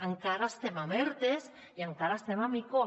encara estem amb erte i encara estem amb ico